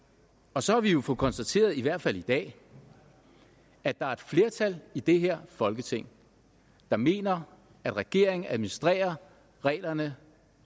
og så har vi jo fået konstateret i hvert fald i dag at der er et flertal i det her folketing der mener at regeringen administrerer reglerne